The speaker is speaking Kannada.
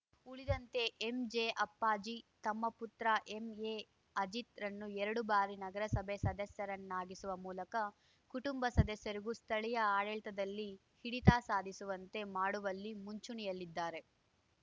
ಉಳಿದಂತೆ ಎಂಜೆ ಅಪ್ಪಾಜಿ ತಮ್ಮ ಪುತ್ರ ಎಂಎ ಅಜಿತ್‌ರನ್ನು ಎರಡು ಬಾರಿ ನಗರಸಭೆ ಸದಸ್ಯರನ್ನಾಗಿಸುವ ಮೂಲಕ ಕುಟುಂಬ ಸದಸ್ಯರಿಗೂ ಸ್ಥಳೀಯ ಆಡಳಿತದಲ್ಲಿ ಹಿಡಿತ ಸಾಧಿಸುವಂತೆ ಮಾಡುವಲ್ಲಿ ಮುಂಚೂಣಿಯಲ್ಲಿದ್ದಾರೆ